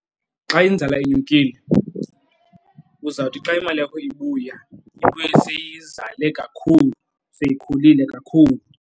Xa inzala inyukile, uzawuthi xa imali yakho ibuya ibuye seyizale kakhulu, seyikhulile kakhulu.